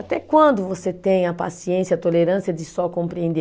Até quando você tem a paciência, a tolerância de só compreender?